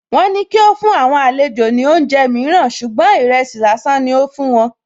Wọn ní kí ó fún àwọn àlejò ní oúnjẹ mìíràn ṣùgbọ́n ìrẹsì lásán ni ó fún wọn